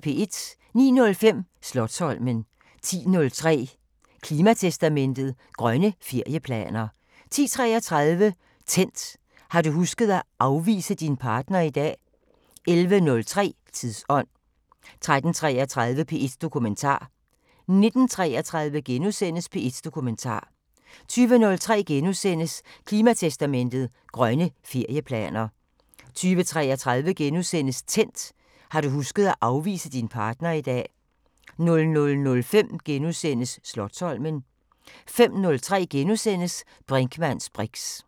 09:05: Slotsholmen 10:03: Klimatestamentet: Grønne ferieplaner 10:33: Tændt: Har du husket at afvise din partner i dag? 11:03: Tidsånd 13:33: P1 Dokumentar 19:33: P1 Dokumentar * 20:03: Klimatestamentet: Grønne ferieplaner * 20:33: Tændt: Har du husket at afvise din partner i dag? * 00:05: Slotsholmen * 05:03: Brinkmanns briks *